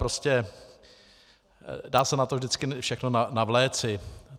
Prostě dá se na to vždycky všechno navléci.